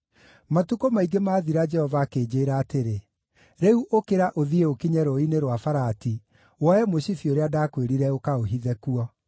Matukũ maingĩ maathira Jehova akĩnjĩĩra atĩrĩ, “Rĩu ũkĩra ũthiĩ ũkinye Rũũĩ-inĩ rwa Farati, woe mũcibi ũrĩa ndakwĩrire ũkaũhithe kuo.”